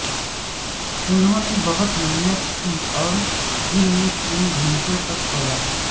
انہوں نے بہت محنت کی اور دن میں تین گھنٹوں تک سویا